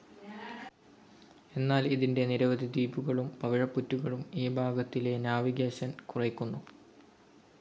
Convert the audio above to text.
എന്നാൽ ഇതിൻ്റെ നിരവധി ദ്വീപുകളും പവിഴപ്പുറ്റുകളും ഈ ഭാഗത്തിലെ നാവിഗേഷൻ കുറയ്ക്കുന്നു.